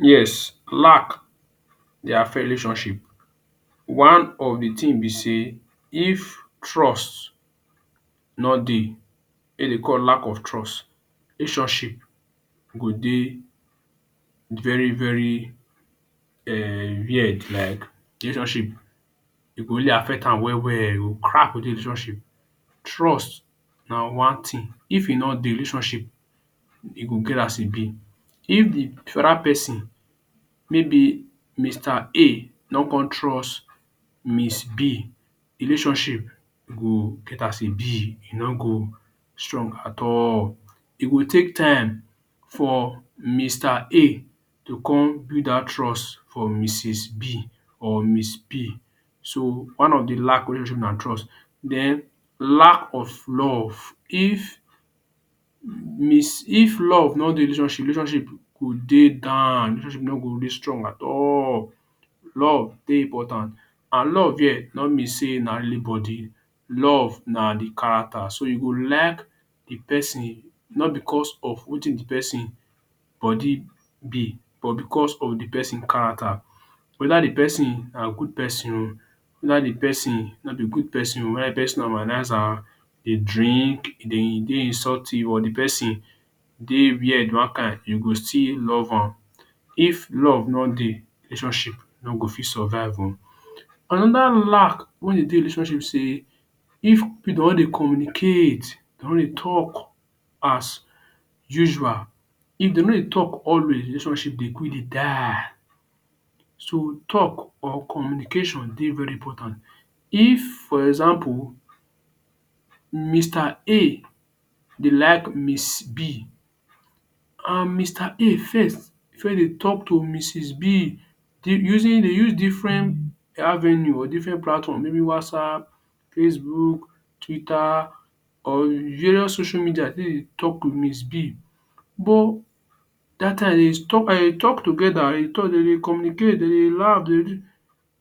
Yes, lack dey affect relationship. One of de thing be sey if trust no dey wey dey call lack of trust, relationship go dey very very um weird like de relationship e go really affect am well well. E go relationship. Trust na one thing, if e no dey relationship e go get as e be. If de other person maybe Mr. A no come trust Miss.B, relationship go get as e be, e no go strong at all. E go take time for Mr. A to come build dat trust for Mrs. B or miss B. So one of de lack wey relationship na trust. Den lack of love. If miss if love no dey relationship, relationship go dey down, relationship no go really strong at all. Love dey important and love here no mean sey na only body. Love na de character. So you go like de person not because of wetin de person body be but because of de person character. Whether de person na good person oo, whether de person no be good person oo, whether de person na womanizer, dey drink, e dey insultive or de person dey weird one kain, you go still love am. If love nor dey, relationship no go fit survive oo. Another lack wein dey relationship be sey if pipu no dey communicate, dey no dey talk as usual. If dey no dey talk always relationship dey quick dey die. So talk or communication dey very important. If for example Mr. A dey like Miss. B um Mr. A first first dey talk to Mrs. B using, dey use different avenue or different platform maybe Whatsapp, Facebook, Twitter or various social media take dey talk to Miss B bu dat time dey talk together, dey communicate dey laugh de